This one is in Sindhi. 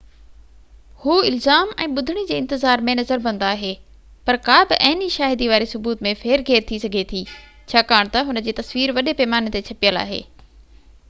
هو الزام ۽ ٻُڌڻي جي انتظار ۾ نظربند آهي پر ڪا بہ عيني شاهدي واري ثبوت ۾ ڦير گهير ٿي سگهي ٿي ڇاڪاڻ تہ هن جي تصوير وڏي پئماني تي ڇپيل آهي